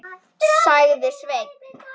sagði Sveinn.